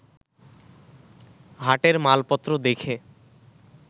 হাটের মালপত্র দেখে